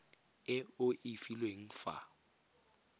e o e filweng fa